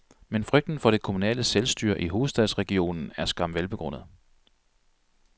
Men frygten for det kommunale selvstyre i hovedstadsregionen er skam velbegrundet.